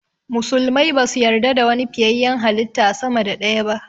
Musulmai basu yarda da wani fiyayyen halitta sama da ɗaya ba